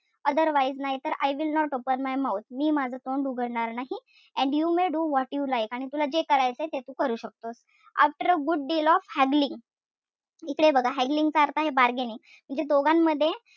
Otherwise नाहींतर I will not open my mouth मी माझं तोंड उघडणार नाही. And you may do whatever you like तुला जे करायचंय ते तू करू शकतो. After a good deal of haggling इकडे बघा haggling चा अर्थ काय bargaining इथे दोघांमध्ये,